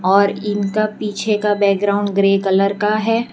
और इनका पीछे का बैकग्राउंड ग्रे कलर का है।